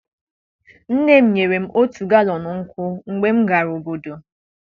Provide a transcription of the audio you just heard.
nne m nyere m otu galọn nkwụ mgbe m gara obodo.